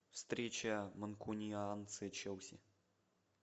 встреча манкунианцы челси